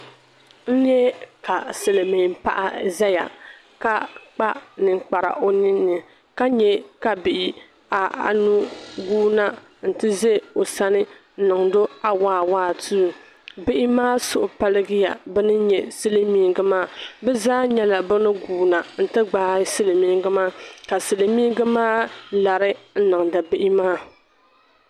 N-nyɛ silimiinpaɣa zaya ka kpa ninkpara o ninni ka nyɛ ka bih'anu guui na nti ʒe o sani n-niŋd'o awaawaatu. Bihi maa suhi paligiya beni nyɛ silimiingi maa. Bi zaa nyɛla bani guui na nti gbaai silimiingi maa ka silimiingi maa lari n-niŋdi bihi maa.